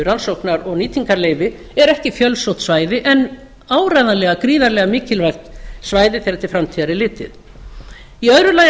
rannsóknar og nýtingarleyfi er ekki fjölsótt svæði en áreiðanlega gríðarlega mikilvægt svæði þegar til framtíðar er litið í öðru lagi að